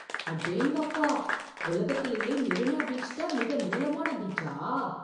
அடேங்கப்பா! உலகத்திலேயே மெரினா பீச் தான் மிக நீளமான பீச்சா!